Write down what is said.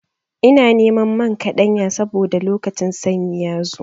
Ina neman man kaɗanya saboda lokacin sanyi ya zo.